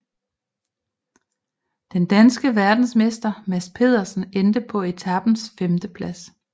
Den danske verdensmester Mads Pedersen endte på etapens femteplads